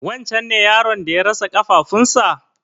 Wancen ne yaron da ya rasa ƙafafuwan sa?